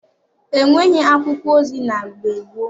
E nweghị akwụkwọ ozi na .gbe gboo.